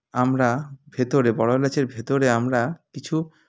আমরা ভেতরে বড়ো এলাচের ভেতরে আমরা কিছু